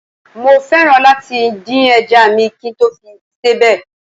Mo fẹ́ràn láti dín ẹja à mi kí n tó fi sebẹ̀